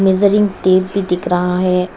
Measuring tape भी दिख रहा है।